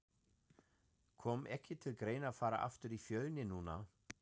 Kom ekki til greina að fara aftur í Fjölni núna?